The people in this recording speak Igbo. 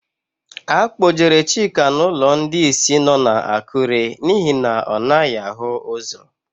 A kpọjere Chika n'ụlọ ndị ìsì nọ n'Akụre n'ihi na ọ naghị ahụ ụ́zọ̀.